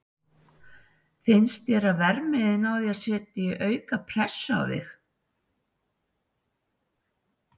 Finnst þér að verðmiðinn á þér setji aukna pressu á þig?